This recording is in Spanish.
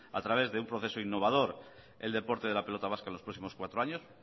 a través de un proceso innovador el deporte de la pelota vasca en los próximos cuatro años